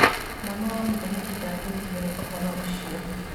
Mwana wa mũthamaki nda kenirio nĩ ũhoro ũcio